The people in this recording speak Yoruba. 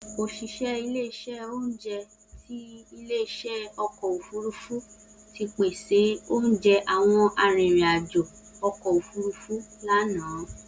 Oṣiṣẹ ile-iṣẹ ounjẹ ti ile-iṣẹ ọkọ ofurufu ti pese ounjẹ awọn aririn ajo ọkọ ofurufu lana.